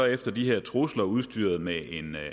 efter de her trusler udstyret med en